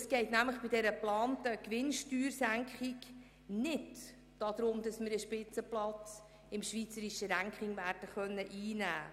Es geht bei der geplanten Steuersenkung nicht darum, dass wir einen Spitzenplatz im schweizerischen Ranking einnehmen können.